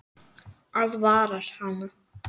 Aðvarar hana.